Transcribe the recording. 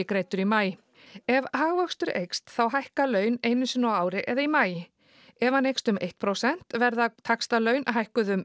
greiddur í maí ef hagvöxtur eykst þá hækka laun einu sinni á ári eða í maí ef hann eykst um eitt prósent verða taxtalaun hækkuð um